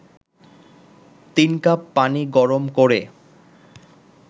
৩ cup পানি গরম করে